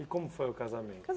E como foi o casamento?